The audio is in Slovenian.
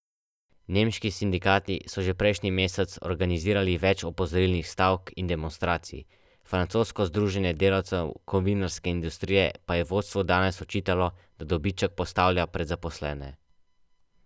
Nemški sindikati so že prejšnji mesec organizirali več opozorilnih stavk in demonstracij, francosko združenje delavcev kovinarske industrije pa je vodstvu danes očitalo, da dobiček postavlja pred zaposlene.